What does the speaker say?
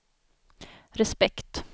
respekt